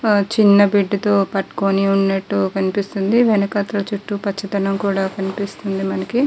చిన్న బిడ్డ తో పట్టుకుని ఉన్నట్టు కనిపిస్తుంది వెనకాథల చుట్టూ పచ్చదనం కూడా కనిపిస్తుంది మనకి.